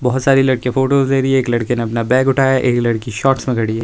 बहुत सारी लड़की फोटोस ले रही है एक लड़की ने अपना बैग उठाया एक लड़की शॉर्ट्स में खड़ी है।